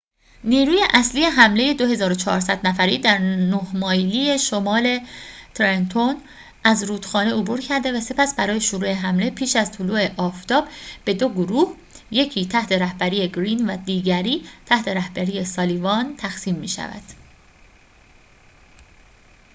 نیروی اصلی حمله ۲۴۰۰ نفری در نه مایلی شمال ترنتون از رودخانه عبور کرده و سپس برای شروع حمله پیش از طلوع آفتاب به دو گروه یکی تحت رهبری گرین و دیگری تحت رهبری سالیوان تقسیم می شود